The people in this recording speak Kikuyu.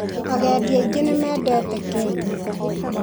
Agendi aingĩ nĩmendete Kenya.